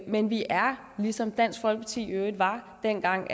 men vi er ligesom dansk folkeparti i øvrigt var dengang